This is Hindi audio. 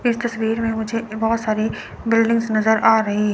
इस तस्वीर में मुझे बहोत सारे बिल्डिंगस नजर आ रहे--